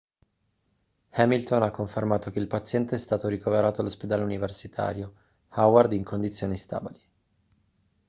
hamilton ha confermato che il paziente è stato ricoverato all'ospedale universitario howard in condizioni stabili